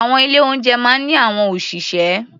Àwọn ilé-oúnjẹ máa ń ní àwọn òṣìṣẹ́.